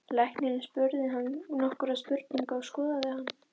Læknirinn spurði hann nokkurra spurninga og skoðaði hann.